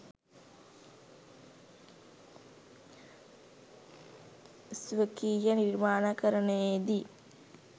ස්වකීය නිර්මාණකරණයේ දී